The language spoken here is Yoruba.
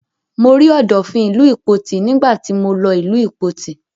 Mo rí Ọ̀dọ̀fin ìlú Ìpoti nígbà tí mọ lọ ìlú Ìpoti.